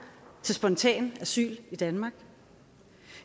til spontan asyl danmark